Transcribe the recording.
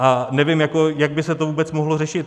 A nevím, jak by se to vůbec mohlo řešit.